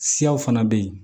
Siyaw fana bɛ yen